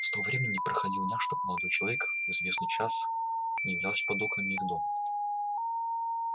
с того времени не проходило дня чтоб молодой человек в известный час не являлся под окнами их дома